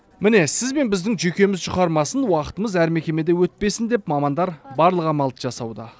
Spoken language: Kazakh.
міне сіз бен біздің жүйкеміз жұқармасын уақытымыз әр мекемеде өтпесін деп мамандар барлық амалды жасауда